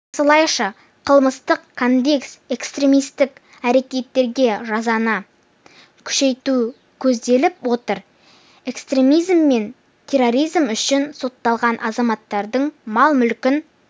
осылайша қылмыстық кодексте экстремистік әрекеттерге жазаны күшейту көзделіп отыр экстремизм мен терроризм үшін сотталған азаматтардың мал-мүлкін